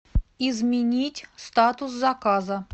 изменить статус заказа